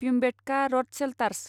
Bhimbetka rock shelters